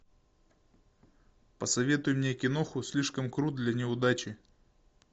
посоветуй мне киноху слишком крут для неудачи